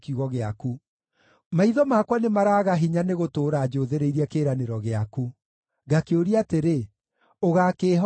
Maitho makwa nĩmaraaga hinya nĩ gũtũũra njũthĩrĩirie kĩĩranĩro gĩaku; ngakĩũria atĩrĩ, “Ũgaakĩĩhooreria rĩ?”